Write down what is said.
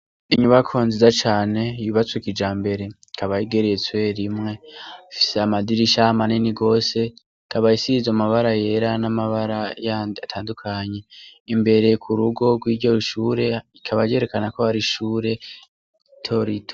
Inyubakwa nziza cane yubatswe kijambere, ikaba igeretswe rimwe. Ifise amadirisha manini rwose, ikaba isizwe amabara yera n'amabara yandi atandukanye. Imbere ku rugo rw'iryo shure ikaba yerekana ko ari ishure rito rito.